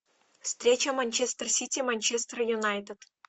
встреча манчестер сити манчестер юнайтед